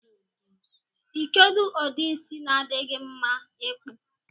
Ikedụ udi isi na adi gi mma ikpụ.